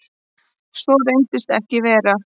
Svo reyndist ekki vera.